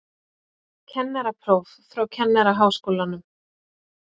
Kennarapróf frá Kennaraháskólanum